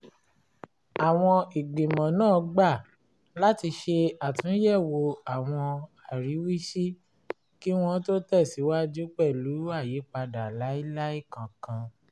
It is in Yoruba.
àwọn ìgbìmọ̀ náà gbà láti ṣe àtúnyẹ̀wò àwọn àríwísí kí wọ́n tó tẹ̀síwaju pẹ̀lú àyípadà lailai kankan